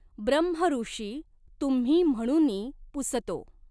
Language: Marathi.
ब्रह्मऋषि तुम्ही म्हणूनि पुसतो।